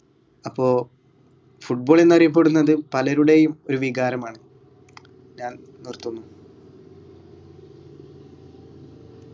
അപ്പോ football എന്നറിയപ്പെടുന്നത് പലരുടെയും ഒരു വികാരമാണ് ഞാൻ നിർത്തുന്നു